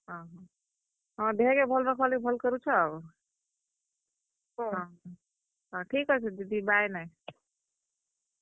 ଅହଁ, ହଁ, ଦେହକେ ଭଲ ରଖବାର୍ ଲାଗି ଭଲ୍ କରୁଛ ଆଉ। ହଁ, ଠିକ୍ ଅଛେ ଦିଦି bye ।